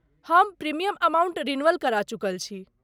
हम premium amount renewal करा चुकल छी।